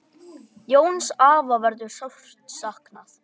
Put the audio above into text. Jóns afa verður sárt saknað.